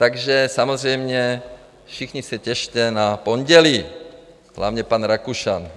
Takže samozřejmě všichni se těšte na pondělí, hlavně pan Rakušan.